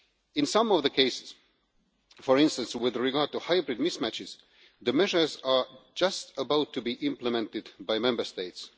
In some of the cases, for instance with regard to hybrid mismatches, the measures are just about to be implemented by Member States.